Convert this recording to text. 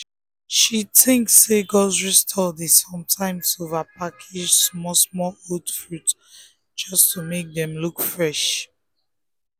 she think say grocery store dey sometimes over-package small-small old fruit just to make dem look fresh.